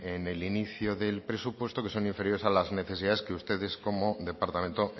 en el inicio del presupuesto que son inferiores a las necesidades que ustedes como departamento